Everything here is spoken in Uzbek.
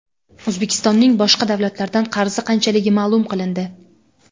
O‘zbekistonning boshqa davlatlardan qarzi qanchaligi ma’lum qilindi.